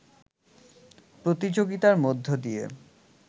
প্রতিযোগিতার মধ্য দিয়ে